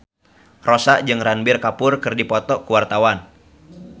Rossa jeung Ranbir Kapoor keur dipoto ku wartawan